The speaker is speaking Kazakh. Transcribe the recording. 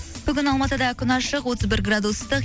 бүгін алматыда күн ашық отыз бір градус ыстық